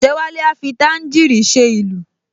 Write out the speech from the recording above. Ọ̀jẹ́wálé a fi tàǹgíìrì ṣe ìlù